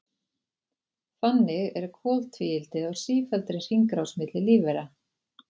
Þannig er koltvíildið á sífelldri hringrás milli lífvera.